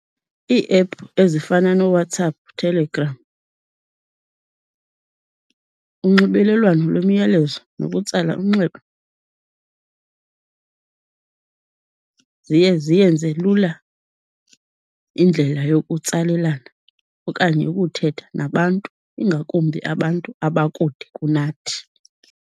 Iiephu ezifana nooWhatsApp, Telegram, unxibelelwano lwemiyalezo nokutsala umnxeba ziye ziyenze lula indlela yokutsalelana okanye yokuthetha nabantu, ingakumbi abantu abakude kunathi.